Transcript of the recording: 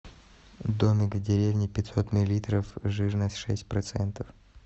домик в деревне пятьсот миллилитров жирность шесть процентов